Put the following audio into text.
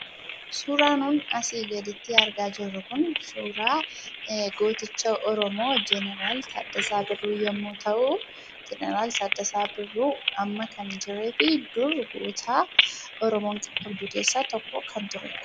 Suuraan nun asii gaditti argaa jirru kun suuraa gooticha Oromoo jeneraal Taaddasaa Birruu yemmuu ta'u, jeneraal Taaddasaa Birruu amma kan hin jirree fi dur goota Oromoon qabdu keessaa tokko kan tureedha.